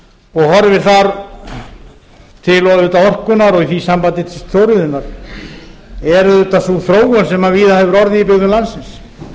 og horfir þar til orkunnar og í því sambandi til stóriðjunnar er auðvitað sú þróun sem víða hefur orðið í byggðum landsins